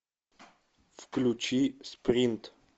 включи спринт